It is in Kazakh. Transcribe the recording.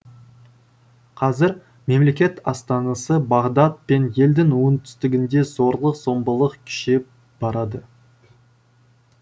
қазір мемлекет астанасы бағдад пен елдің оңтүстігінде зорлық зомбылық күшейіп барады